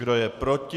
Kdo je proti?